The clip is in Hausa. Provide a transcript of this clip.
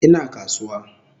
Ina kasuwa